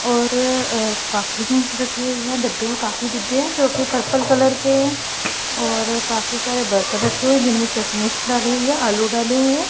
और अह काफी डब्बे है काफी डिब्बे है जो कि पर्पल कलर के हैं और काफी सारे बर्तन रखे हुए है जिनमे चटनीस डाली हुई है आलू डाले हुई है।